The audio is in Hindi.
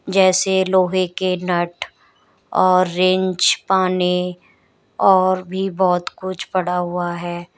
जैसे लोहे के नट और रिच पॉने और भी बहुत कुछ पड़ा हुआ है।